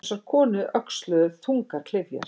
Þessar konur öxluðu þungar klyfjar.